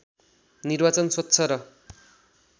निर्वाचन स्वच्छ र